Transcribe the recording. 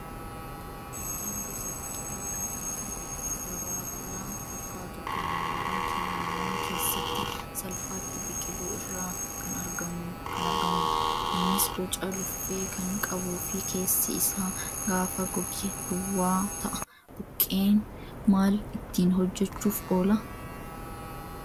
Buqqeen gosa biqilaa kan akka dabaaqulaa fakkaatu kan mooraa namaa keessatti salphaatti biqilu irraa kan argamudha. Innis boca luffee kan qabuu fi keessi isaa gaafa goge duwwaa ta'a. Buqqeen maal ittiin hojjachuuf oola?